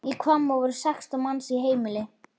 Í Hvammi voru sextán manns í heimili.